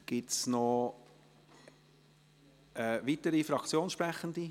Gibt es noch weitere Fraktionssprechende?